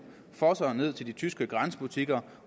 fosser ned til de tyske grænsebutikker